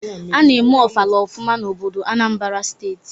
A na-eme ofala ofụma n'obodo Anambra steeti.